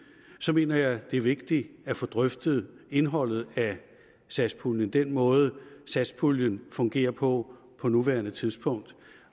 mener jeg det er vigtigt at få drøftet indholdet af satspuljen altså den måde satspuljen fungerer på på nuværende tidspunkt